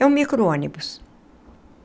É um micro-ônibus.